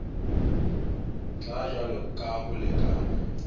tla jwalo ka ho lekana